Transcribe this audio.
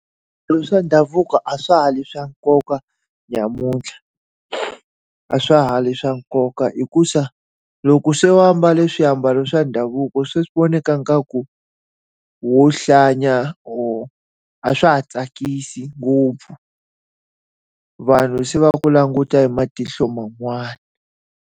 Swilo swa ndhavuko a swa ha ri swa nkoka namuntlha. A swa ha ri swa nkoka hikuva, loko se va mbale swiambalo swa ndhavuko swi vonaka ingaku wo hlaya . A swa ha tsakisi ngopfu, vanhu se va ku languta hi matihlo man'wana.